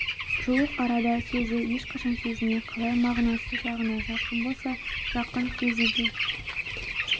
жуық арада сөзі ешқашан сөзіне қалай мағынасы жағынан жақын болса жақын сөзі де